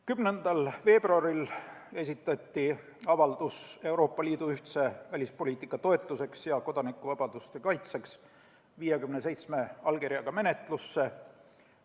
10. veebruaril esitati avaldus Euroopa Liidu ühtse välispoliitika toetuseks ja kodanikuvabaduste kaitseks 57 allkirjaga menetlusse.